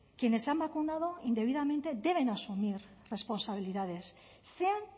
quienes se han vacunado indebidamente deben asumir responsabilidades sean